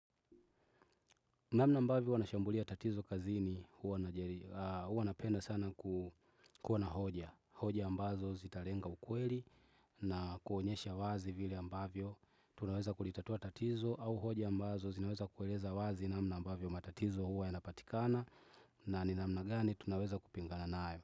Namna ambavyo wanashambulia tatizo kazi ni huwa napenda sana kuwa na hoja. Hoja ambazo zitalenga ukweli na kuonyesha wazi vile ambavyo. Tunaweza kulitatua tatizo au hoja ambazo zinaweza kueleza wazi namna ambavyo matatizo huwa yanapatikana. Na ni namna gani tunaweza kupingana nayo.